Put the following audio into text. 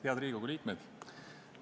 Head Riigikogu liikmed!